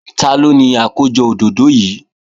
Taló ni àkójọ òdòdó yìí?